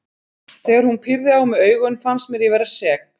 Þegar hún pírði á mig augun fannst mér ég vera sek.